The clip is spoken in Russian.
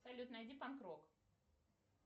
салют найди панк рок